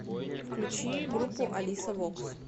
включи группу алиса вокс